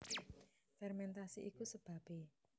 Fermentasi iku sebabé